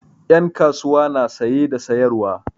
Ƴan kasuwa na saye da sayarwa.